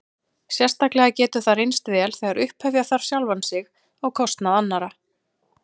Sérstaklega getur það reynst vel þegar upphefja þarf sjálfan sig á kostnað annarra.